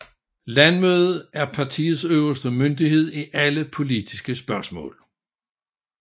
Landsmødet er partiets øverste myndighed i alle politiske spørgsmål